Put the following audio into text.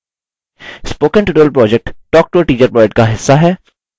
spoken tutorial project talktoateacher project का हिस्सा है